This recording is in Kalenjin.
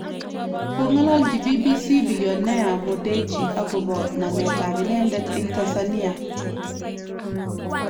Kong'alalchi BBC billioner Mo Dewji akobo namet ab inendet eng Tansania